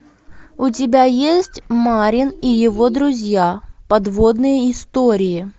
у тебя есть марин и его друзья подводные истории